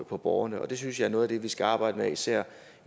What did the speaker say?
på borgerne og det synes jeg er noget af det vi skal arbejde med især